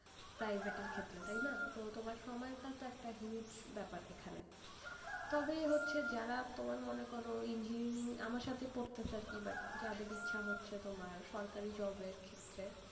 private এর ক্ষেত্রে টাই না, তো তোমার সময় টাও তো একটা huge ব্যাপার এখানে, তবে হচ্ছে যারা তোমার মনে করো engineering আমার সাথে পড়তো আরকি but যাদের ইচ্ছা হচ্ছে তোমার সরকারি job এর ক্ষেত্রে,